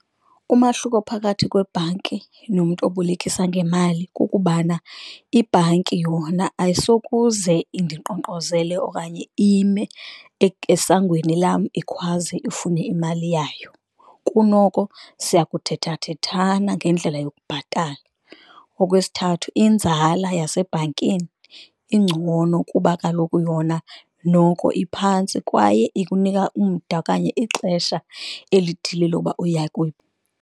Umahluko phakathi kwebhanki nomntu obolekisa ngemali kukubana, ibhanki yona ayisokuze indinkqonkqozele okanye ime esangweni lam ikhwaze ifune imali yayo. Kunoko siyakuthetha thethana ngendlela yokubhatala. Okwesithathu, inzala yasebhankini ingcono kuba kaloku yona noko iphantsi kwaye ikunika umda okanye ixesha elithile .